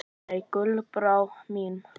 Nei, Gullbrá mín.